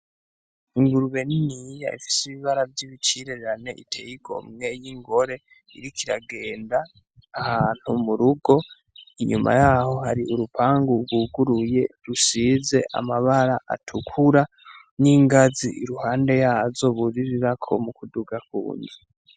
Ingurube niniya ifise ibibara vyibicirirane; itey'igomwe; y'ingore, iriko iragenda ahantu murugo, inyuma yaho hari urupangu guguruye rusize amabara atukura; n'ingazi iruhande yazo buririrako mu kuduga ku nzu.